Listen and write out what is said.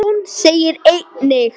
Jón segir einnig